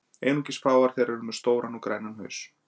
Einungis fáar þeirra eru með stóran og grænan haus.